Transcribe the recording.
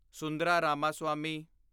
Sundara Ramaswami